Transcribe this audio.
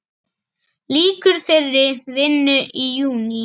Lýkur þeirri vinnu í júní.